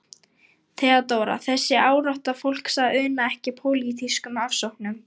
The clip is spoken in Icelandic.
THEODÓRA: Þessi árátta fólks að una ekki pólitískum ofsóknum.